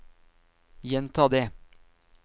gjenta det